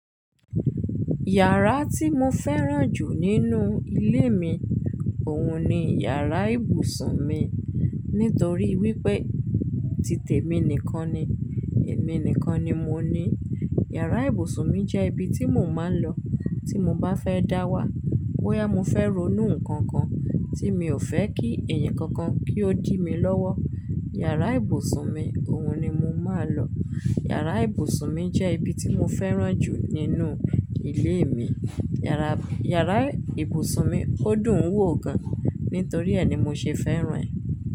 Yàrá tí mo fẹ́ràn jù nínú ilé mi, òhun ni yàrá ibùsùn mi. Nítorí wípé titẹmi nìkan ni. Èmi nìkan ni mo ní. Yàrá ibùsùn mi jẹ́ ibi tí mò ń máa lọ tí mo bá fẹ́ dáwà, bóyá mo fẹ́ ronú nǹkan kan tí mi ò fẹ́ kí ẹ̀yin kankan kí ó dìí mi lọ́wọ́. Yàrá ibùsùn mi, òun ni mo máa ń lọ. Yàrá ibùsùn mi jẹ́ ibi tí mo fẹ́ràn jù nínú ilé mi. Yàrá, yàrá ibùsùn mi ó dùn ún wò gan, nítorí ẹ ni mo ṣe fẹ́ràn ẹ̀.